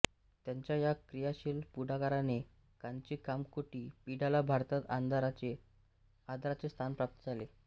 त्यांच्या या क्रियाशील पुढाकाराने कांची कामकोटी पीठाला भारतात आदराचे स्थान प्राप्त झाले